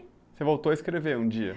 Você voltou a escrever um dia.